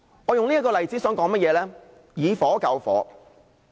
我以此例子說明"以火救火"。